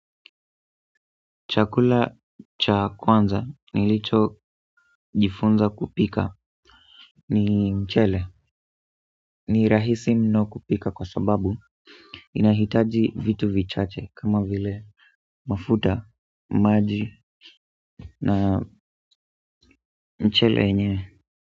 Chakula cha kwanza nilicho jifunza kupika ni mchele ni rahisi mno kupika kwa sababu inahitaji vitu vichache kama vile mafuta, maji na mchele yenyewe.